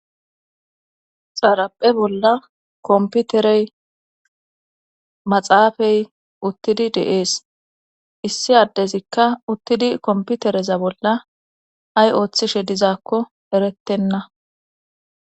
xaaraphe bolla komputerey maxaafey uttidi deees issi addezikka uttidi komputereza bolla ay ooththishe dizaakko erettenna